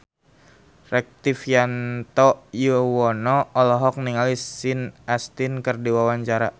Rektivianto Yoewono olohok ningali Sean Astin keur diwawancara